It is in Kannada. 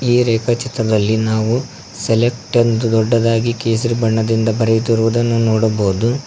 ಈ ರೇಖಾ ಚಿತ್ರದಲ್ಲಿ ನಾವು ಸೆಲೆಕ್ಟ್ ಎಂದು ದೊಡ್ಡದಾಗಿ ಕೇಸರಿ ಬಣ್ಣದಿಂದ ಬರೆದಿರುವುದನ್ನು ನೋಡಬಹುದು.